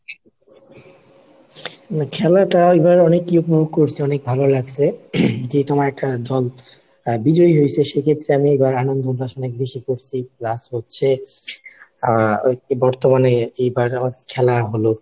খেলাটা এবার অনেকই উপভোগ করসে অনেক ভালো লাগছে, যে তোমার একটা দল বিজয়ী হইছে সেক্ষেত্রে আমি এবার আনন্দ উপাসনা বেশি করছি. Plus হচ্ছে আহ বর্তমানে এইবার আমাদের খেলা হলো।